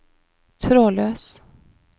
trådløs